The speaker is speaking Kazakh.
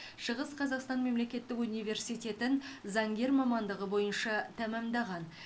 шығыс қазақстан мемлекеттік университетін заңгер мамандығы бойынша тәмамдаған